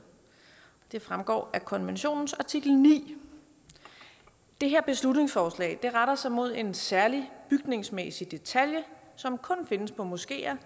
det fremgår af konventionens artikel niende det her beslutningsforslag retter sig mod en særlig bygningsmæssig detalje som kun findes på moskeer